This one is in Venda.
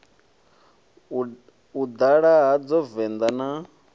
u ḓala hadzo venḓa na